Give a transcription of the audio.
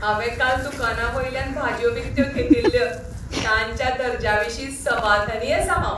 हांवें काल दुकानावयल्यान भाजयो विकत्यो घेतिल्ल्य, तांच्या दर्ज्याविशीं समाधानी आसां हांव.